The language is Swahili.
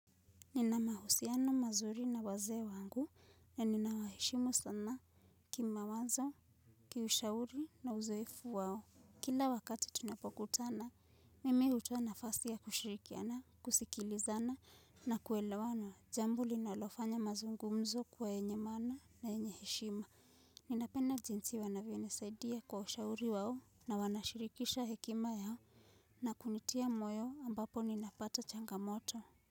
Nina mahusiano mazuri na wazee wangu na nina waheshimu sana kima wazo kiushauri na uzoefu wao. Kila wakati tunapokutana mimi hutoa na fasi ya kushirikiana kusikilizana na kuelewana jambo linalofanya mazungumzo kuwa yenye maana na yenye heshima. Ninapenda jinsi wanavyonisaidia kwa ushauri wao na wanashirikisha hekima yao na kunitia moyo ambapo ninapata changamoto.